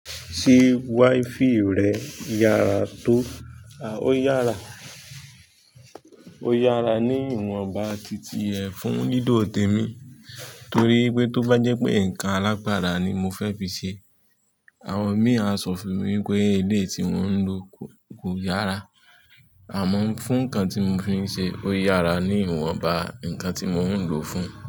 Ṣé wifi rẹ yára tó? A, ó yára. Ó yára ní ìwọnba titi ẹ fún lilo tèmi nitorí pé tó bá jẹ́ pé nǹkan alágbara ni mo fẹ́ fi ṣe, àwọn mi a sọ fún mi pé eleyii tí mo ń lò kò yára. Àmọ́ fún nǹkan tí mo fi ń ṣe ó yára ní ìwọnba nǹkan tí mo ń lò fún un.